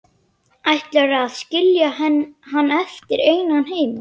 Ætlarðu að skilja hann eftir einan heima?